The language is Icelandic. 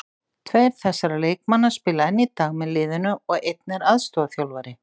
Tveir þessara leikmanna spila enn í dag með liðinu og einn er aðstoðarþjálfari.